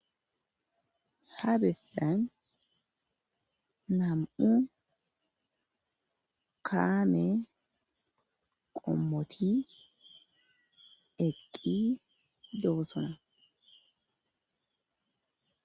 ha bessan nam7u kaame qommoti eqqi doossona